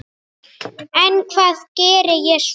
En hvað geri ég svo?